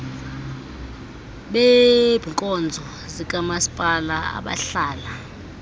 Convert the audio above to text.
beebkonzo zikamaspala abahlala